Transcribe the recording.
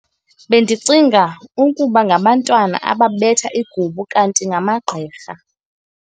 Bendicinga ukuba ngabantwana ababetha igubu kanti ngamagqirha